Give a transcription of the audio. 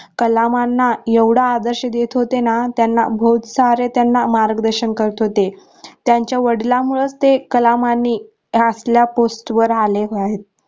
कलामांना येवढा आदर्श देत होतेना त्यांना बोहोत सारे त्यांना मार्गदर्शन करत होते त्यांच्या वडिलामुळेच ते कामांना असल्या post वर आले आहे.